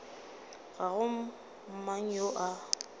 ga go mang yo a